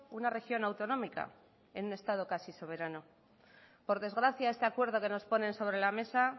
una región autonómica en un estado casi soberano por desgracia este acuerdo que nos ponen sobre la mesa